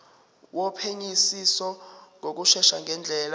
wophenyisiso ngokushesha ngendlela